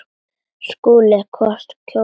SKÚLI: Hvort kjósið þér?